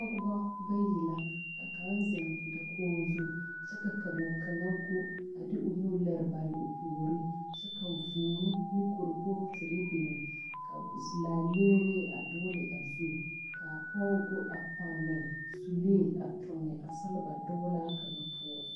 Pɔɡebɔ bayi la ka kaŋa zeŋ dakoɡi zu kyɛ ka kaŋa ɡo a de o nu liri bare o puori kyɛ ka būū ne kuripooti biŋ ka laaleeree a duɡili a zu ka a pɔɡe ɡo a pɔne sulee a tuɡi a seleba duulaa kaŋa poɔ.